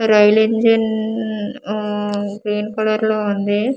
Rail ఇంజన్-న-న-న ఊఊ green colour లో ఉంది.